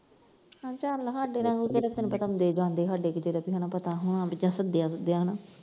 ਅੱਛਾ ਚੱਲ ਸਾਡੇ ਰਾਹੀਂ ਤੈਨੂੰ ਪਤਾ ਕਿਹੜਾ ਆਉਂਦੇ ਜਾਂਦੇ ਸਾਡੇ ਕਿਤੇ ਕਿਸੇ ਨੂੰ ਕਿਹੜਾ ਪਤਾ ਹੋਣਾ ਵੀ ਕਿਸੇ ਨੂੰ ਸੱਦਿਆ ਸੁਦਿਆ ਹਨਾ।